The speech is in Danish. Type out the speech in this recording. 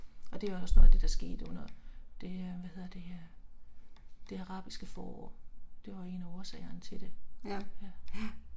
Og det var også noget af det der skete under det øh hvad hedder det øh Det Arabiske Forår, det var en af årsagerne til det, ja